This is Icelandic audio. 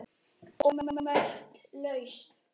ómerkt lausn